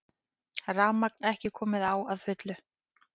Rafmagn ekki komið á að fullu